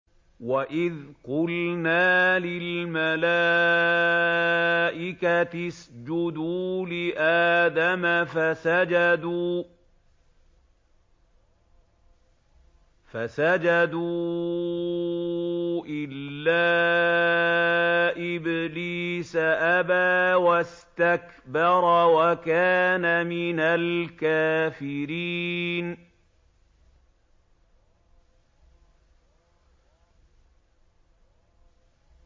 وَإِذْ قُلْنَا لِلْمَلَائِكَةِ اسْجُدُوا لِآدَمَ فَسَجَدُوا إِلَّا إِبْلِيسَ أَبَىٰ وَاسْتَكْبَرَ وَكَانَ مِنَ الْكَافِرِينَ